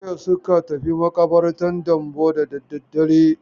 Jiya suka tafi maƙabartan Dambo da dare.